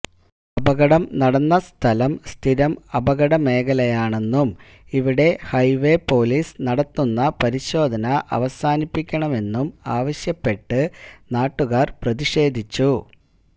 അപകടം നടന്ന സ്ഥലം സ്ഥിരം അപകട മേഖലയാണെന്നും ഇവിടെ ഹൈവേ പൊലീസ് നടത്തുന്ന പരിശോധന അവസാനിപ്പിക്കണമെന്നും ആവശ്യപ്പെട്ട് നാട്ടുകാര് പ്രതിഷേധിച്ചു